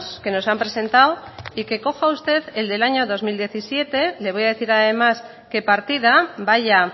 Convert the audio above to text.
que nos han presentado y que coja usted el del año dos mil diecisiete le voy a decir además qué partida vaya